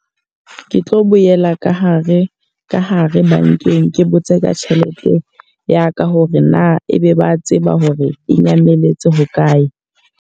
Ke tlo boela ka hare, ka hare bankeng ke botse ka tjhelete ya ka hore na ebe ba tseba hore e nyametse hokae?